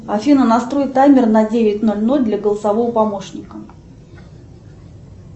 афина настрой таймер на девять ноль ноль для голосового помощника